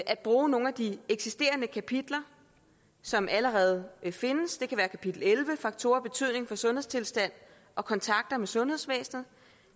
at bruge nogle af de eksisterende kapitler som allerede findes det kan være kapitel elleve om faktorer af betydning for sundhedstilstanden og kontakter med sundhedsvæsenet